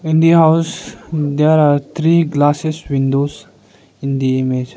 In the house there are three glasses windows in the image.